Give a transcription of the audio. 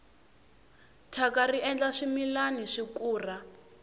thyaka ri endla swimilana swi kura